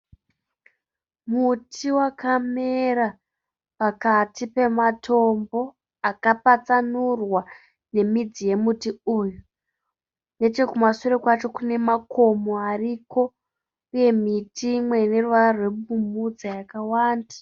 Muti wakamera pakati pematombo akapatsanurwa nemidzi wemuti uyu. Nechekumashure kwacho kune makomo ariko uye miti imwe ineruvara rwepfumvudza yakawanda.